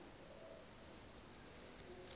isilimela